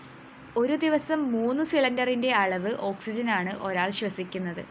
ഒരു ദിവസം മൂന്നു സിലിണ്ടറിന്റെ അളവ് ഓക്‌സിജനാണ് ഒരാള്‍ ശ്വസിക്കുന്നത്